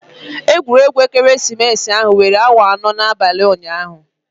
Egwuregwu ekeresimesi ahụ were awa anọ n'abalị ụnyaahụ.